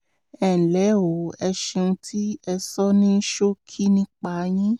ẹnlẹ́ o ẹ ṣeun tí ẹ sọ ní ṣókí nípa yín